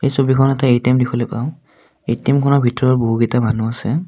এই ছবিখনত এটা এ_টি_এম দেখিবলৈ পাওঁ এ_টি_এম খনৰ ভিতৰত বহুকেইটা মানুহ আছে।